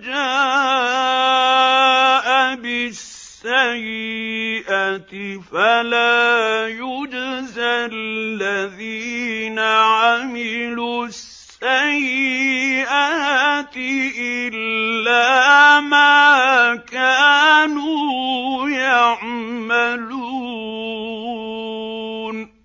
جَاءَ بِالسَّيِّئَةِ فَلَا يُجْزَى الَّذِينَ عَمِلُوا السَّيِّئَاتِ إِلَّا مَا كَانُوا يَعْمَلُونَ